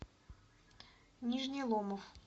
нижний ломов